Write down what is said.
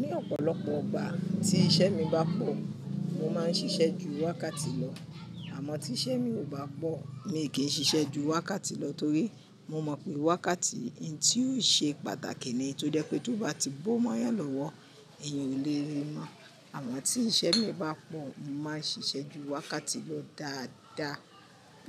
Ní ọ̀pọ̀lọpọ̀ igbà tí iṣẹ́ mi bá pọ̀, mo máa ń ṣiṣẹ́ ju wákàtí lọ, àmọ́ tí iṣẹ́ mi ò bá pọ̀, mi ò kí n ṣiṣẹ́ ju wákàtí lọ torí mo mọ̀ pé wákàtí ni tí yóò ṣe pàtàkì ní, tó jẹ́ pé tó bá ti bómọ́yàn lọ́wọ́, èèyàn ò lè rí i mọ́. Àmọ́ tí iṣẹ́ mi bá pọ̀, mo máa ń ṣiṣẹ́ ju wákàtí lọ dáadáa